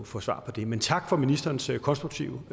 få svar på det men tak for ministerens konstruktive